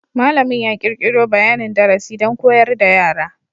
Malamin ya kirkiro bayanin darasi don koyar da yara.